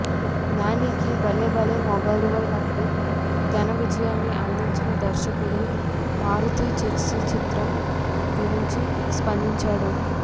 నానికి భలే భలే మగాడివోయ్ లాంటి ఘనవిజయాన్ని అందించిన దర్శకుడు మారుతి జెర్సీ చిత్రం గురించి స్పందించాడు